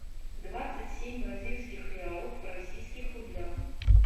двадцать семь бразильских реалов в российских рублях